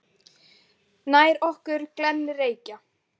Nær okkur glennir Reykja